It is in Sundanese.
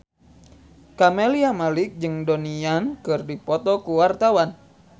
Camelia Malik jeung Donnie Yan keur dipoto ku wartawan